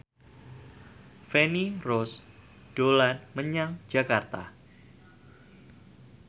Feni Rose dolan menyang Jakarta